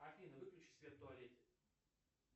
афина выключи свет в туалете